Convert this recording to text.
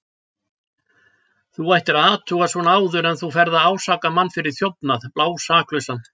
Þú ættir að athuga svona áður en þú ferð að ásaka mann fyrir þjófnað, blásaklausan.